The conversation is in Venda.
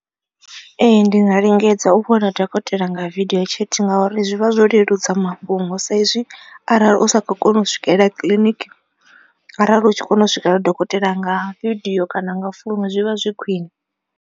Ee ndi nga lingedza u vhona dokotela nga video chat ngauri zwi vha zwo leludza mafhungo sa izwi arali u sa kho kona u swikelela kiḽiniki. Arali u tshi kona u swikelela dokotela nga vidio kana nga founu zwi vha zwi khwine.